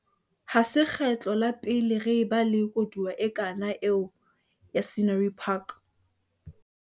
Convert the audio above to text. Ha se kgetlo la pele re ba le koduwa e kang eo ya Scenery Park.